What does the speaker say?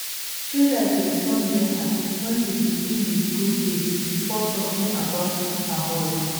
traders respond better when you begin with good day before talking about palm oil